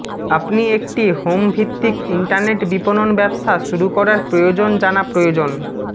আপনি একটি হোম ভিত্তিক ইন্টারনেট বিপণন ব্যবসা শুরু করার প্রয়োজন জানা প্রয়োজন